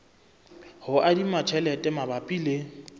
ho adima tjhelete mabapi le